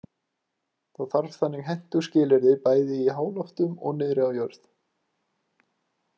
Það þarf þannig hentug skilyrði bæði í háloftunum og niðri við jörð.